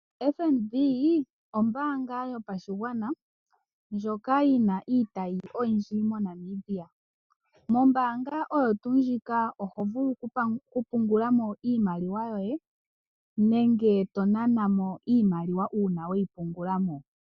FNB, ombaanga yopashigwana, ndjoka yina iitayi oyindji moNamibia. Mombaanga oyo tuu ndjika oho vulu kupungula mo iimaliwa yoye, nenge tonana mo iimaliwa uuna weyipungula mo.